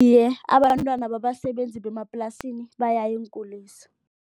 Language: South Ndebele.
Iye, abantwana babasebenzi bemaplasini bayaya eenkulisa.